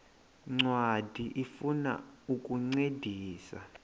ncwadi ifuna ukukuncedisa